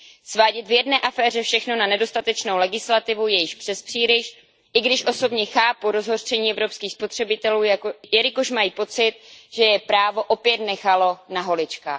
Svádět v jedné aféře všechno na nedostatečnou legislativu je již přespříliš, i když osobně chápu rozhořčení evropských spotřebitelů, jelikož mají pocit, že je právo opět nechalo na holičkách.